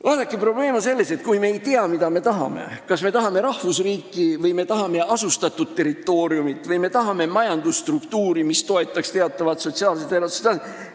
Vaadake, probleem on selles, kui me ei tea, mida me tahame – kas me tahame rahvusriiki, asustatud territooriumi või majandusstruktuuri, mis toetaks teatavat sotsiaalset elatustaset?